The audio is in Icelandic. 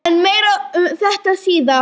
En meira um þetta síðar.